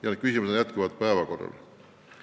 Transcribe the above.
Ja need küsimused on jätkuvalt päevakorral.